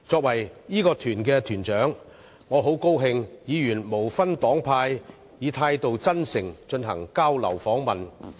我是該團團長，很高興看到議員無分黨派，以真誠的態度進行交流訪問。